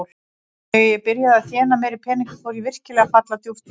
Þegar ég byrjaði að þéna meiri peninga fór ég virkilega að falla djúpt í þetta.